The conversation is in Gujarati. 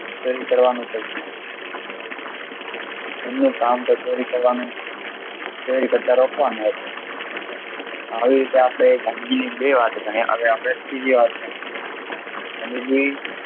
પુરી કરવાનું કહ્યું અન્ય કામ કે ચોરી કરવાનું ચોરી કરતાં રોકવાનું હતું આવી રીતે અપડે ગાંધીજી ની બે વાત જાણી. હવે ત્રીજી વાત જનિસુ